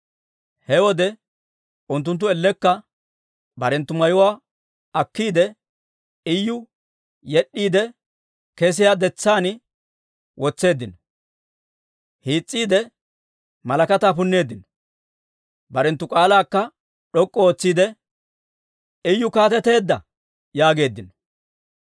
He wode unttunttu ellekka barenttu mayuwaa akkiide, Iyu yed'd'iide kesiyaa detsaan wotseeddino; hiis's'iide malakataa punneeddino. Barenttu k'aalaakka d'ok'k'u ootsiide, «Iyu kaateteedda!» yaageeddino.